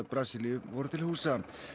Brasilíu voru til húsa